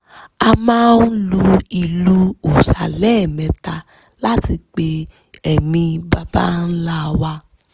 a máa ń lu ìlù òòṣà lẹ́ẹ̀mẹ́ta láti pe ẹ̀mí àwọn baba ńlá wa